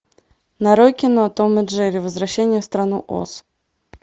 нарой кино том и джерри возвращение в страну оз